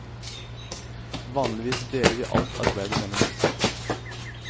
Vanligvis deler vi alt arbeidet mellom oss.